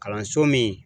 Kalanso min